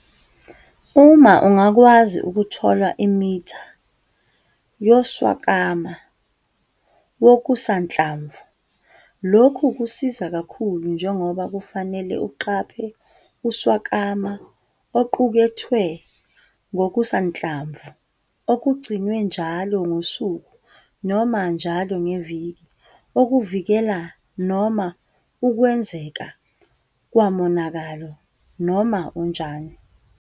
Uma ungakwazi ukuthola imitha yoswakama wokusanhlamvu, lokhu kusiza kakhulu njengoba kufanele uqaphe uswakama oqukethwe ngokusanhlamvu okugciniwe njalo ngosuku noma njalo ngeviki okuvikela noma ukwenzeka kwamonakalo noma onjani.